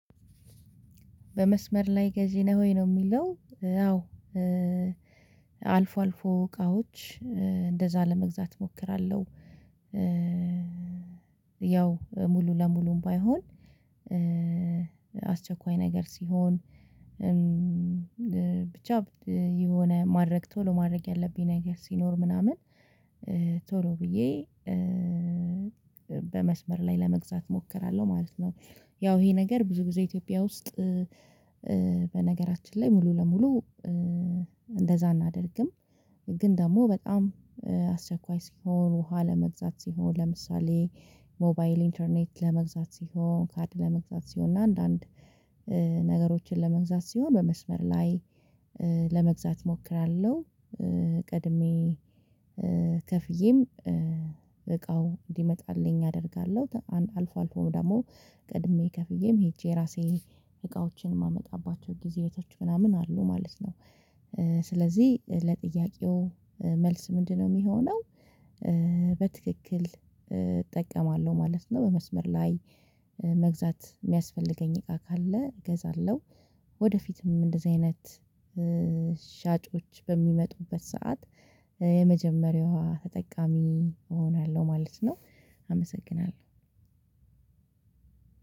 በመስመር ላይ ገዢ ነህ ወይ? ነው የሚለው አዎ አልፎ አልፎ እቃዎች እንደዛ ለመግዛት እሞክራለሁ። ያው ሙሉ ለሙሉም ባይሆን አስቸኳይ ነገር ሲሆን ብቻ የሆነ ማድረግ ቶሎ ማድረግ ያለብኝ ነገር ሲኖር ምናምን ቶሎ ብዬ በመስመር ላይ ለመግዛት እሞክራለሁ ማለት ነው። ያው ይሄ ነገር ብዙ ጊዜ ኢትዮጵያ ውስጥ በነገራችን ላይ ሙሉ ለሙሉ እንደዛ አናደርግም። ግን ደግሞ በጣም አስቸኳይ ሲሆን ውሃ ለመግዛት ሲሆን ለምሳሌ ሞባይል ኢንተርኔት ለመግዛት ሲሆን ካድ ለመግዛት ሲሆን እና አንዳንድ ነገሮችን ለመግዛት ሲሆን በመስመር ላይ እሞክራለሁ ቀድሜ ከፍዬም እቃው እንዲመጣልኝ አደርጋለሁ። አንድ አልፎ አልፎ ደግሞ ቀድሜ ከፍዬም ሄጄ ራሴ እቃዎችን የማመጣባቸው ጊዜ እህቶች ምናምን አሉ ማለት ነው። ስለዚህ ለጥያቄው መልስ ምንድነው የሚሆነው? በትክክል እጠቀማለሁ ማለት ነው በመስመር ላይ መግዛት የሚያስፈልገኝ እቃ ካለ እገዛለሁ። ወደፊትም እንደዚህ አይነት ሻጮች በሚመጡበት ሰዓት የመጀመሪያዋ ተጠቃሚ እሆናለሁ ማለት ነው። አመሰግናለሁ።